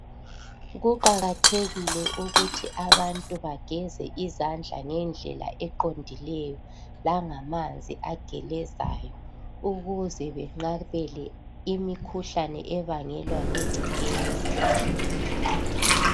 Kuqakathekile kakhulu ukuthi abantu bageze izandla ngendlela eqondileyo langamanzi agelezayo ukuze benqabele imikhuhlane ebangelwa yingcekeza .